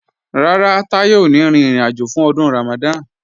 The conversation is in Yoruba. Rárá, Táyọ̀ ò ní rin ìrìnàjò fún Ọdún Ramadan